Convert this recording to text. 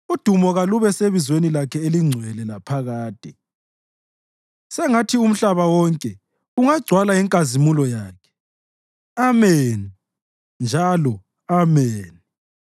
Udumo kalube sebizweni lakhe elingcwele laphakade; sengathi umhlaba wonke ungagcwala inkazimulo yakhe. Ameni njalo Ameni.